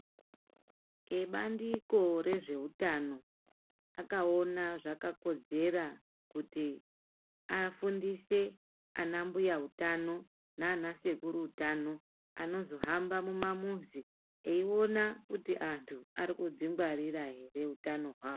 Vebandiko rezveutano akaona zvakakodzera, kuti afundise ana mbuyautano nanasekuruutano anozohamba mumamuzi eiona kuti antu, arikudzingwarira ere utano hwavo.